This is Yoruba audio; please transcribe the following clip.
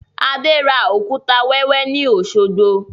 Adé ra òkúta wẹ́wẹ́ ni Osogbo